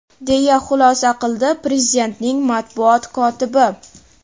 deya xulosa qildi Prezidentning matbuot kotibi.